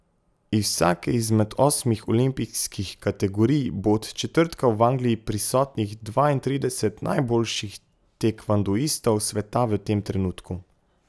Iz vsake izmed osmih olimpijskih kategorij bo od četrtka v Angliji prisotnih dvaintrideset najboljših tekvondoistov sveta v tem trenutku!